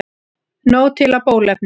Nóg til af bóluefni